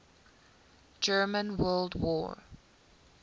german world war